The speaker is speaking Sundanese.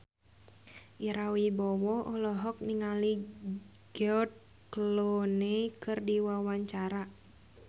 Ira Wibowo olohok ningali George Clooney keur diwawancara